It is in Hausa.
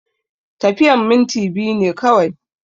Tafiyan minti biyu ne kawai